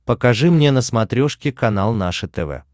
покажи мне на смотрешке канал наше тв